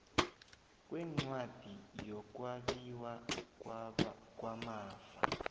kwencwadi yokwabiwa kwamafa